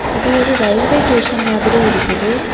இது ஒரு railway station மாதிரி இருக்குது.